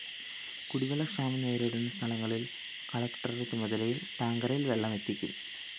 കുടിവെള്ളക്ഷാമം നേരിടുന്ന സ്ഥലങ്ങളില്‍ കളക്ടറുടെ ചുമതലയില്‍ ടാങ്കറില്‍ വെള്ളമെത്തിക്കും